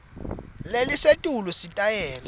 lelisetulu sitayela